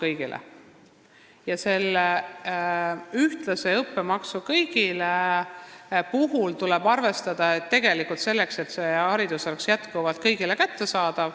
Aga selle ühtlase õppemaksu puhul tuleb arvestada seda, et haridus oleks jätkuvalt kõigile kättesaadav.